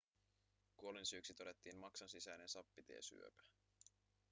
kuolinsyyksi todettiin maksansisäinen sappitiesyöpä